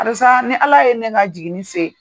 Karisa ni ala ye ne ka jiginni se